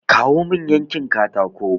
Kawo mun yankin katako!